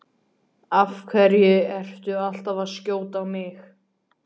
Af hverju ertu alltaf að skjóta á mig?